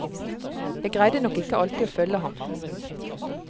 Jeg greide nok ikke alltid å følge ham.